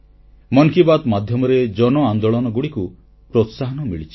ମନ କି ବାତ୍ ମାଧ୍ୟମରେ ଜନଆନ୍ଦୋଳନଗୁଡ଼ିକୁ ପ୍ରୋତ୍ସାହନ ମିଳିଛି